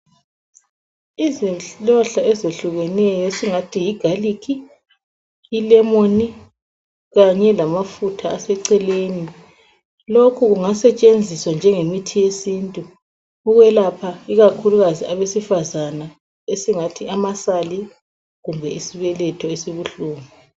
Izihlahla ezehlukeneyo esingathi yi garlic, ilemoni kanye lamafutha aseceleni. Lokhu kungasetshenziswa njengomuthi wesintu ukwelapha ikakhulukazi abesifazana esingathi amasali kumbe isibeletho esibuhlungu.